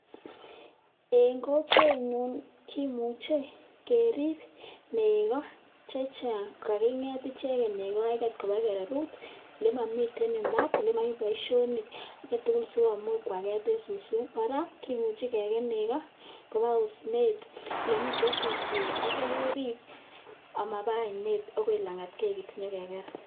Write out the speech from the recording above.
eng kokwet nyu kimuche kerib nego chechang gigete icheket koba gererut ne momite mbaar anan ko boisionik sikomuch kuaket eng suswek kora kimuchi keket nego koba osnet ole mitei suswek atya kerib amaba ainet agoi langat keket nyo keker